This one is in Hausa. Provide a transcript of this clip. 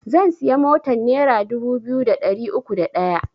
Zan siya motan nera dubu biyu da ɗari uku da ɗaya